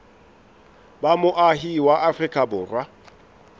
ba moahi wa afrika borwa